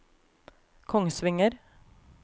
Kongsvinger